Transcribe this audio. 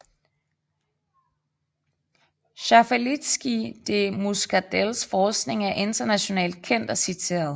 Schaffalitzky de Muckadells forskning er internationalt kendt og citeret